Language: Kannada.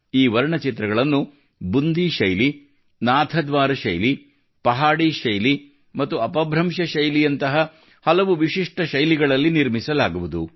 ಈ ವರ್ಣಚಿತ್ರಗಳನ್ನು ಬುಂದಿ ಶೈಲಿ ನಾಥದ್ವಾರ ಶೈಲಿ ಪಹಾಡಿ ಶೈಲಿ ಮತ್ತು ಅಪಭ್ರಂಶ ಶೈಲಿಯಂತಹ ಹಲವು ವಿಶಿಷ್ಟ ಶೈಲಿಗಳಲ್ಲಿ ನಿರ್ಮಿಸಲಾಗುವುದು